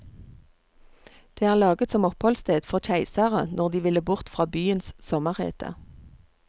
Det er laget som oppholdssted for keisere når de ville bort fra byens sommerhete.